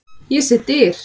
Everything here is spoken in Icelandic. Ég sé dyr.